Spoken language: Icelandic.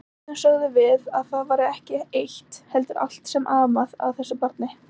Stundum sögðum við að það væri ekki eitt heldur allt sem amaði að þessu barni.